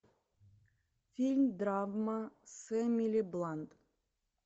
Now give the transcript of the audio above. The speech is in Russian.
фильм драма с эмили блант